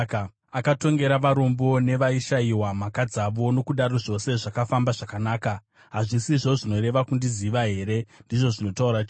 Akatongera varombo nevaishayiwa mhaka dzavo, nokudaro zvose zvakafamba zvakanaka. Hazvisizvo zvinoreva kundiziva here?” ndizvo zvinotaura Jehovha.